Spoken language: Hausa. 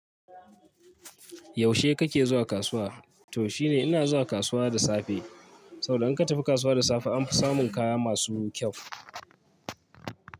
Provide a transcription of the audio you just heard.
Yaushe kake zuwa kasuwa? To shine ina zuwa kasuwa da safe. Saboda in ka tafi kasuwa da safe anfi samun kaya masu kyau.